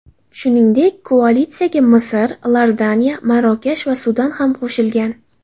Shuningdek, koalitsiyaga Misr, Iordaniya, Marokash va Sudan ham qo‘shilgan.